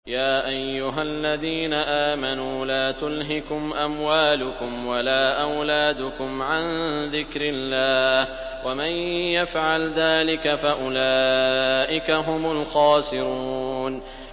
يَا أَيُّهَا الَّذِينَ آمَنُوا لَا تُلْهِكُمْ أَمْوَالُكُمْ وَلَا أَوْلَادُكُمْ عَن ذِكْرِ اللَّهِ ۚ وَمَن يَفْعَلْ ذَٰلِكَ فَأُولَٰئِكَ هُمُ الْخَاسِرُونَ